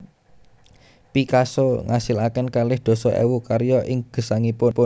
Picasso ngasilaken kalih dasa ewu karya ing gesangipun